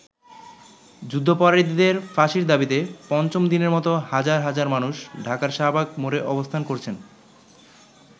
যুদ্ধাপরাধীদের ফাঁসির দাবীতে পঞ্চম দিনের মতো হাজার হাজার মানুষ ঢাকার শাহবাগ মোড়ে অবস্থান করছেন।